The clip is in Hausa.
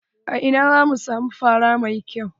A ina zan samu fara mai kyau?